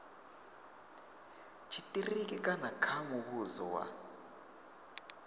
tshitiriki kana kha muvhuso wa